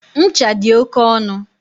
Ncha dị oke ọnụ.